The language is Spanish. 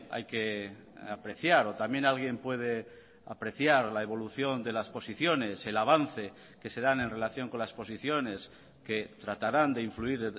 hay que apreciar o también alguien puede apreciar la evolución de las posiciones el avance que se dan en relación con las posiciones que tratarán de influir